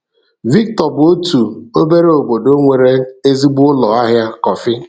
Victor bụ otu obere obodo nwere ezigbo ụlọ ahịa kọfị.